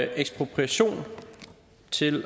ekspropriation til